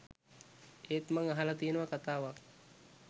එත් මං අහල තියනවා කතාවක්